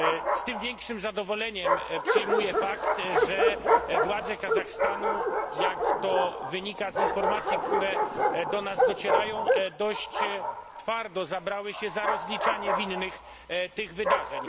Z tym większym zadowoleniem przyjmuję fakt, że władze Kazachstanu jak to wynika z informacji, które do nas docierają dość twardo zabrały się za rozliczanie winnych tych wydarzeń.